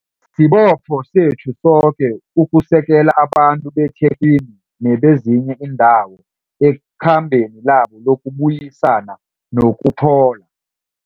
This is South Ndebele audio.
Sibopho sethu soke ukusekela abantu beThekwini nebezinye iindawo ekhambeni labo lokubuyisana nokuphola.